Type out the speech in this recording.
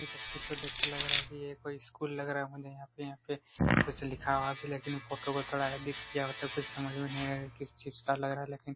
ये तस्वीर को देख कर लगता हैं ये कोई स्कूल लग रहा होंगे यहाँ पे यहाँ पे कुछ लिखा भी लेकिन फोटो को थोड़ा एडिट किया हुआ तो कुछ समझ नहीं आ रहा था की किस चीज का लग रहा हैं लेकिन